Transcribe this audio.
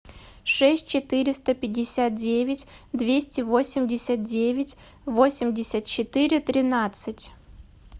шесть четыреста пятьдесят девять двести восемьдесят девять восемьдесят четыре тринадцать